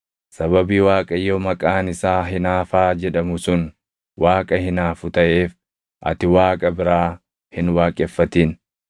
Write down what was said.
Sababii Waaqayyo maqaan isaa Hinaafaa jedhamu sun Waaqa hinaafu taʼeef ati Waaqa biraa hin waaqeffatin.